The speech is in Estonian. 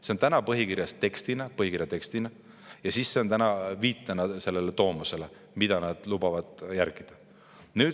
See on põhikirjas tekstina ja see on ka viitena tomosele, mida nad lubavad järgida.